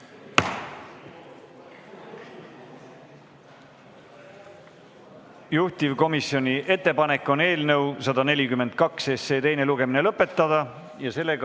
Juhtivkomisjoni ettepanek on eelnõu 142 teine lugemine lõpetada.